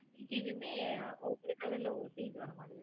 இதுவும் ஒவ்வொரு color ல ஒவ்வொரு piece வேணும் மாறி